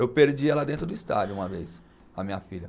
Eu perdi ela dentro do estádio uma vez, a minha filha.